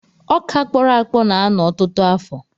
Ọkà kpọrọ akpọ na-anọ ọtụtụ afọ.